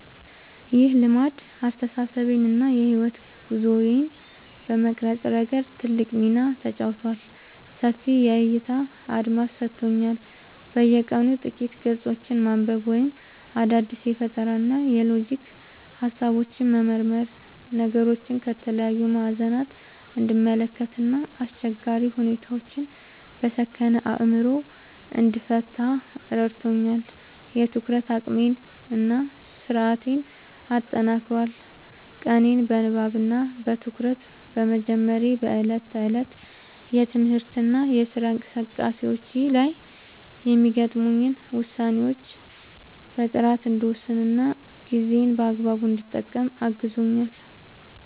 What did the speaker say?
ይህ ልማድ አስተሳሰቤን እና የሕይወት ጉዞዬን በመቅረጽ ረገድ ትልቅ ሚና ተጫውቷል፦ ሰፊ የዕይታ አድማስ ሰጥቶኛል፦ በየቀኑ ጥቂት ገጾችን ማንበብ ወይም አዳዲስ የፈጠራና የሎጂክ ሃሳቦችን መመርመር ነገሮችን ከተለያዩ ማዕዘናት እንድመለከት እና አስቸጋሪ ሁኔታዎችን በሰከነ አእምሮ እንድፈታ ረድቶኛል። የትኩረት አቅሜን እና ስነ-ስርዓቴን አጠናክሯል፦ ቀኔን በንባብ እና በትኩረት በመጀመሬ በዕለት ተዕለት የትምህርትና የሥራ እንቅስቃሴዎቼ ላይ የሚገጥሙኝን ውሳኔዎች በጥራት እንድወስንና ጊዜዬን በአግባቡ እንድጠቀም አግዞኛል።